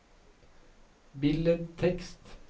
billedtekst